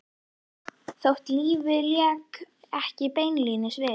Þótt lífið léki ekki beinlínis við